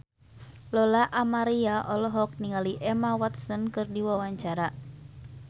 Lola Amaria olohok ningali Emma Watson keur diwawancara